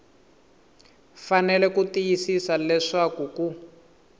fanele ku tiyisisa leswaku ku